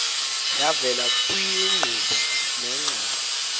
yavela kwiinkqubo neengxoxo